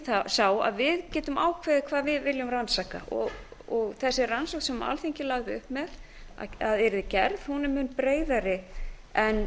sá að við getum ákveðið hvað við viljum rannsaka og þessi rannsókn sem alþingi lagði upp með að yrði gerð er mun breiðari en